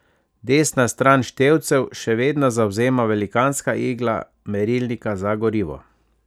Desno stran števcev še vedno zavzema velikanska igla merilnika za gorivo.